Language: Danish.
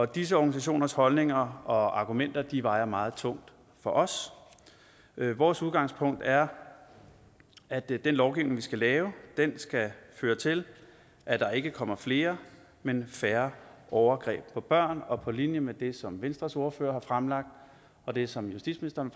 disse organisationers holdninger og argumenter vejer meget tungt for os vores udgangspunkt er at den lovgivning vi skal lave skal føre til at der ikke kommer flere men færre overgreb på børn og på linje med det som venstres ordfører har fremlagt og det som justitsministeren